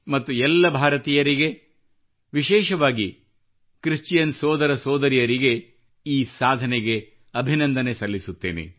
ಮತ್ತು ಎಲ್ಲ ಭಾರತೀಯರಿಗೆ ವಿಶೇಷವಾಗಿ ಕ್ರಿಶ್ಚಿಯನ್ ಸೋದರ ಸೋದರಿಯರಿಗೆ ಈ ಸಾಧನೆಗೆ ಅಭಿನಂದನೆ ಸಲ್ಲಿಸುತ್ತೇನೆ